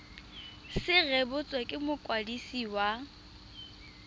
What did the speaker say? se rebotswe ke mokwadisi wa